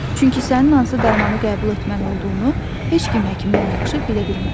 Çünki sənin hansı dərmanı qəbul etməli olduğunu heç kim həkimdən yaxşı bilə bilməz.